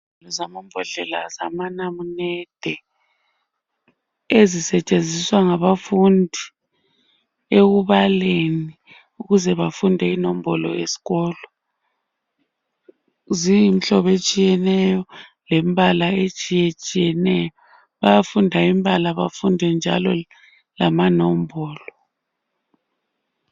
Izivalo zamabhodlela zamanamunede ezisetshenziswa ngabafundi ekubaleni ukuze bafunde inombolo yesikolo ziyimihlobo etshiyeneyo lembala etshiye tshiyeneyo bayafunda imbala bafunde njalo lamanombolo.